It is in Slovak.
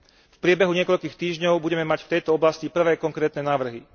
V priebehu niekoľkých týždňov budeme mať v tejto oblasti prvé konkrétne návrhy.